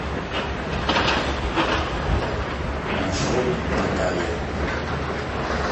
маршрут наталья